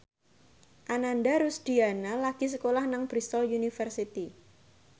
Ananda Rusdiana lagi sekolah nang Bristol university